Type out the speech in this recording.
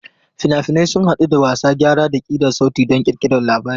Fina-finai sun haɗu da wasa, gyara, da ƙirar sauti don ƙirƙirar labari.